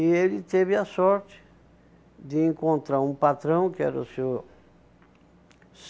E ele teve a sorte de encontrar um patrão, que era o Senhor